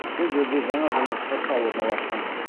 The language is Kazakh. бұл жерде жаңа жылдық шырша орналасқан